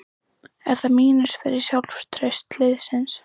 Er það mínus fyrir sjálfstraust liðsins?